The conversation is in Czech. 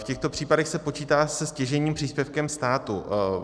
V těchto případech se počítá se stěžejním příspěvkem státu.